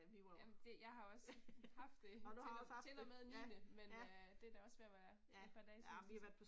Jamen det, jeg har også haft det, til til og med niende, men øh det er da også ved at være et par dage siden trods alt